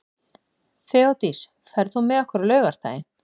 Þeódís, ferð þú með okkur á laugardaginn?